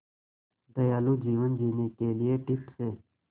दयालु जीवन जीने के लिए टिप्स